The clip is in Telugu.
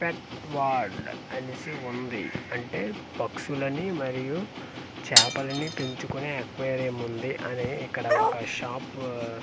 పెట్-ట్ వర్డ్ అనేసి ఉంది అంటే పక్షులని మరియు చపలని పెంచుకొనే అక్వేరియం ఉంది అనే ఇక్కడ ఒక షాపు చి--